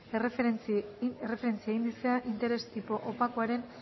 erreferentzia indizea interes tipo opakoaren